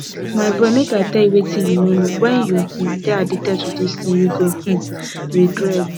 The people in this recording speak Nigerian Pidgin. my boy make i tell you wetin you no know wen you um dey addicted to dis thing you go um regret